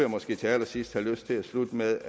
måske til allersidst have lyst til at slutte med